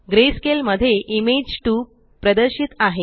greyscale मध्ये image 2 प्रदर्शित आहे